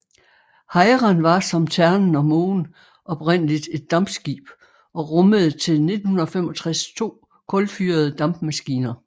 Hejren var som Ternen og Mågen oprindeligt et dampskib og rummede til 1965 to kulfyrede dampmaskiner